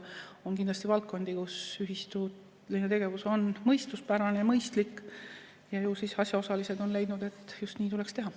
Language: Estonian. On kindlasti valdkondi, kus ühistuline tegevus on mõistuspärane ja mõistlik ja ju siis asjaosalised on leidnud, et just nii tuleks teha.